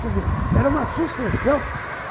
Quer dizer, era uma sucessão.